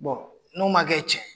n'o ma kɛ cɛn ye